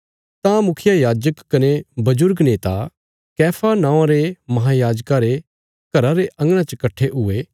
तां मुखियायाजक कने बजुर्ग नेता कैफा नौआं रे महायाजका रे घरा रे अंगणा च कट्ठे हुये